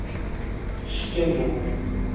steenbok